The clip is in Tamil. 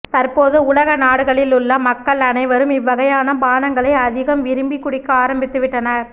தற்போது உலக நாடுகளில் உள்ள மக்கள் அனைவரும் இவ்வகையான பானங்களை அதிகம் விரும்பி குடிக்க ஆரம்பித்துவிட்டனர்